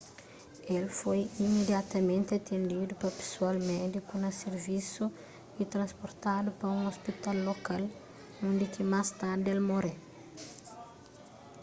el foi imediatamenti atendidu pa pesoal médiku na sirvisu y trasportadu pa un ôspital lokal undi ki más tardi el móre